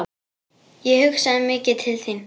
Ég hugsaði mikið til þín.